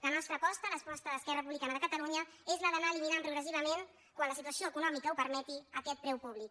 la nostra aposta l’aposta d’esquerra republicana de catalunya és la d’anar eliminant progressivament quan la situ·ació econòmica ho permeti aquest preu públic